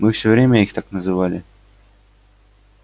мы всё время их так называли